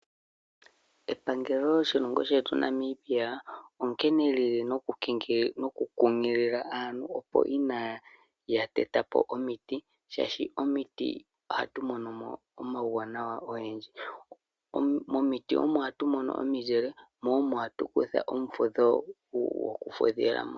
Epangelo lyoshilongo shetu Namibia onkene lili noku kunkilila aantu opo kaaya tetepo omiti shaashi momiti ohatu monomo omawuwanawa ogendji. Momiti omo hatu mono omuzile mo omo hatu kutha ombepo yoku fudhilamo.